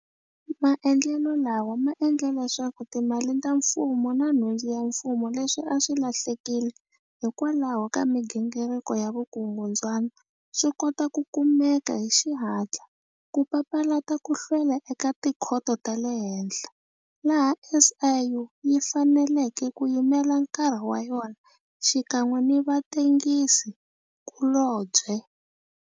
Maendlelo lawa ma endle leswaku timali ta mfumo na nhundzu ya mfumo leswi a swi lahlekile hikwalaho ka migingiriko ya vukungundzwana swi kota ku kumeka hi xihatla, ku papalata ku hlwela eka tikhoto ta le henhla, laha SIU yi faneleke ku yimela nkarhi wa yona xikan'we ni vatengisi kulobye.